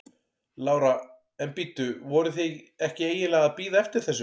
Lára: En bíddu, voruð þið ekki eiginlega að bíða eftir þessu?